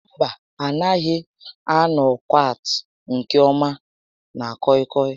Mba, a naghị m anọkwat nke ọma na kọị kọị